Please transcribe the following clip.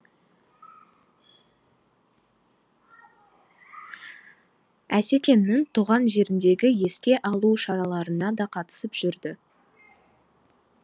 асекеңнің туған жеріндегі еске алу шараларына да қатысып жүрді